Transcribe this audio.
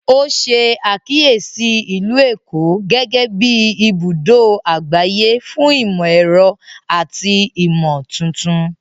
O ṣe àkíyèsí Ìlú Èkó gẹgẹbi ibùdó àgbáyé fún imọ-ẹrọ àti imotuntun